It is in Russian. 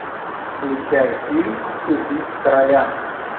включай фильм убить короля